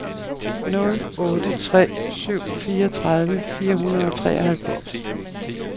nul otte tre syv fireogtredive fire hundrede og treoghalvfems